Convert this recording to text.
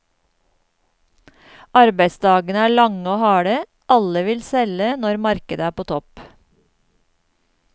Arbeidsdagene er lange og harde, alle vil selge når markedet er på topp.